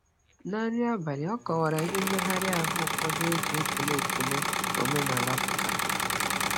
Na nri abalị, ọ kọwara ihe mmegharị ahụ ụfọdụ e ji ekele ekele omenala pụtara.